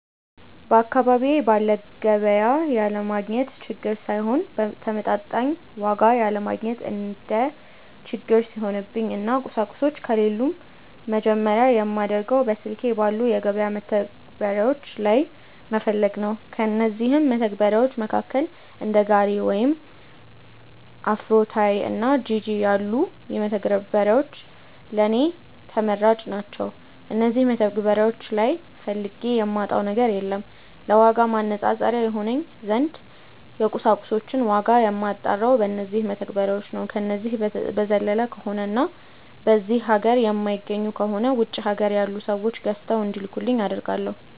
በአካባቢዬ ባለ ገቢያ ያለማግኘት ችግር ሳይሆን በተመጣጣኝ ዋጋ ያለማግኘት እንደ ችግር ሲሆንብኝ እና ቁሳቁሶቹ ከሌሉም መጀመርያ የማደርገው በስልኬ ባሉ የገበያ መተግበሪያዎች ላይ መፈለግ ነው። ከእነዚህም መተግበርያዎች መካከል እንደ ጋሪ ወይም አፍሮታይ እና ጂጂ ያሉት መተግበሪያዎች ለኔ ተመራጭ ናቸዉ። እነዚህ መተግበሪያዎች ላይ ፈልጌ የማጣው ነገር የለም። ለዋጋ ማነፃፀሪያ ይሆነኝ ዘንድ የቁሳቁሶችን ዋጋ የማጣራው በነዚው መተግበሪያዎች ነው። ከነዚህ በዘለለ ከሆነ እና በዚህ ሀገር የማይገኙ ከሆነ ውጪ ሀገር ያሉ ሰዎች ገዝተው እንዲልኩልኝ አደርጋለው።